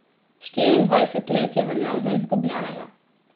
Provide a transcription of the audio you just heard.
Štiriindvajset let je veljal za izgubljenega.